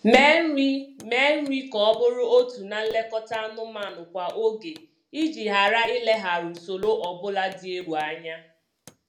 Mee nri Mee nri ka ọ bụrụ otu na nlekọta anụmanụ kwa oge iji ghara ilegharụ usoro ọbụla dị egwu anya